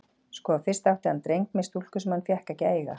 Sko, fyrst átti hann dreng með stúlku sem hann fékk ekki að eiga.